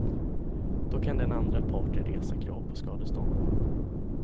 Då kan den andra parten resa krav på skadestånd.